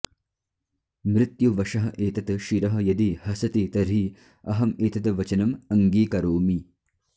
मृत्युवशः एतत् शिरः यदि हसति तर्हि अहम् एतद् वचनम् अङ्गीकरोमि